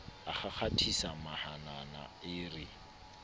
a kgakgathisa mahanana e re